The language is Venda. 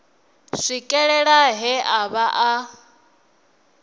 swikelela he a vha a